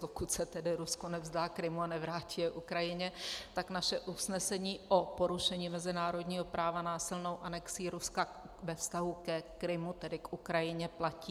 Dokud se tedy Rusko nevzdá Krymu a nevrátí ho Ukrajině, tak naše usnesení o porušení mezinárodního práva násilnou anexí Ruska ve vztahu ke Krymu, tedy k Ukrajině, platí.